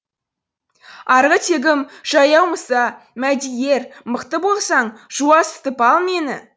арғы тегім жаяу мұса мәди ер мықты болсаң жуасытып ал мені